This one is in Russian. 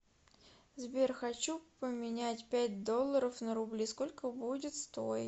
сбер хочу поменять пять долларов на рубли сколько будет стоить